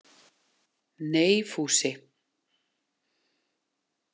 Nei, Fúsi.